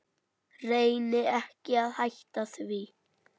Reyni ekki að hætta því.